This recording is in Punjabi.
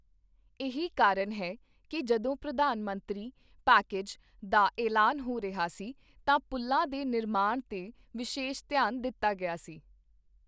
ਇਹੀ ਕਾਰਨ ਹੈ ਕੀ ਜਦੋਂ ਪ੍ਰਧਾਨ ਮੰਤਰੀ ਪੈਕੇਜ ਦਾਐਲਾਨ ਹੋ ਰਿਹਾ ਸੀ ਤਾਂ ਪੁਲ਼ਾਂ ਦੇ ਨਿਰਮਾਣ ਤੇ ਵਿਸ਼ੇਸ਼ ਧਿਆਨ ਦਿੱਤਾ ਗਿਆ ਸੀ।